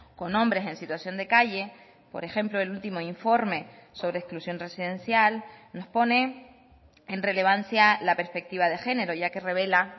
con hombres en situación de calle por ejemplo el último informe sobre exclusión residencial nos pone en relevancia la perspectiva de género ya que revela